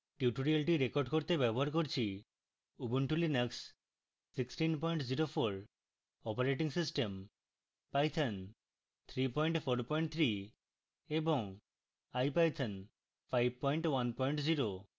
tutorial record করতে ব্যবহার করছি: